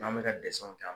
N'an bɛ ka dɛsɛ u ta